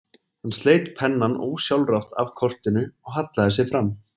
Hann sleit pennann ósjálfrátt af kortinu og hallaði sér fram.